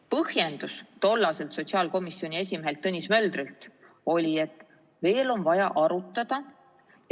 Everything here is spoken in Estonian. Põhjendus tollaselt sotsiaalkomisjoni esimehelt Tõnis Möldrilt oli, et veel on vaja arutada.